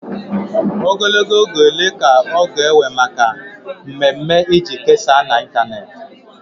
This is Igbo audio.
Ogologo oge ole ka ọ na-ewe maka mmemme iji kesaa na ịntanetị?